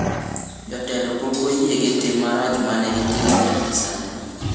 Jotelo pok oyie gi tim marach ma ne gitimo nyaka sani.